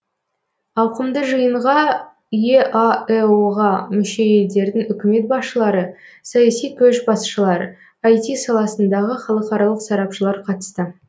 ауқымды жиынға еаэо ға мүше елдердің үкімет басшылары саяси көшбасшылар іт саласындағы халықаралық сарапшылар қатысты